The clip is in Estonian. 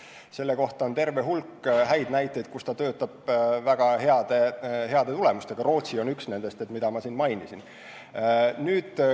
Selle süsteemi kohta on terve hulk häid näiteid, et ta töötab väga heade tulemustega, üks nendest on Rootsi, nagu ma mainisin.